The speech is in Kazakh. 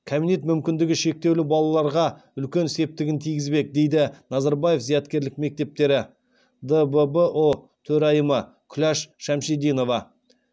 кабинет мүмкіндігі шектеулі балаларға үлкен септігін тигізбек дейді назарбаев зияткерлік мектептері дббұ төрайымы күләш шәмшидинова